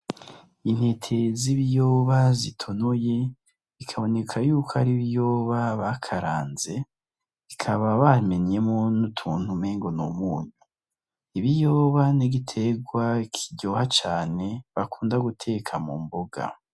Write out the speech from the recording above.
Intete z'ibiyoba zitonoye, bikaboneka yuko ari ibiyoba bakaranze. Bikaba babimenyemwo n'utuntu umengo ni umuntu. Ibiyoba ni igiterwa kiryoha cane bakunda guteka mumboga.